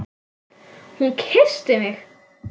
Hún kyssti mig!